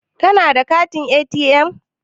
Kana da katin ATM?